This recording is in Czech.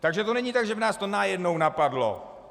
Takže to není tak, že by nás to najednou napadlo.